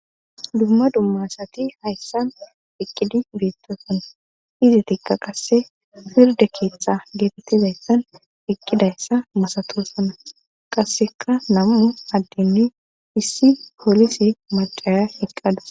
dumma dummasati hayssan iqqidi biittosan izi tiqa qasse firde keeththa geetettizayssan iqqidayssa masatoosana qasseka nam7u addinni issi poolisi macaya hiqqadu